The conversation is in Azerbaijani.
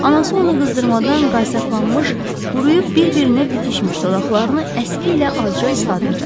Anası ona qızdırmadan qaysaqlanmış, quruyub bir-birinə bitişmiş dodaqlarını əski ilə azca ısladırdı.